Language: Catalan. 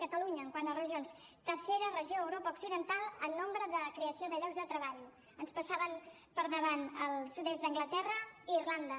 catalunya quant a regions tercera regió a europa occidental en nombre de creació de llocs de treball ens passaven per davant el sud est d’anglaterra i irlanda